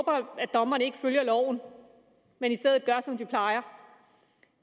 dommerne ikke følger loven men i stedet gør som de plejer